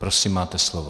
Prosím, máte slovo.